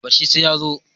bar shi sai ya zo